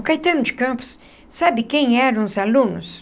O Caetano de Campos, sabe quem eram os alunos?